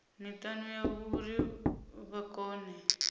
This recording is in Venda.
mitani yavho uri vha kone